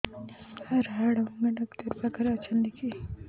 ସାର ହାଡଭଙ୍ଗା ଡକ୍ଟର ପାଖରେ ଅଛନ୍ତି କି